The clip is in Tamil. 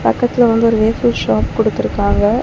பக்கத்துல வந்து ஒரு வேஃப்ஃபல் ஷாப் குடுத்துருக்காங்க.